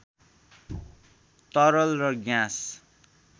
तरल र ग्यास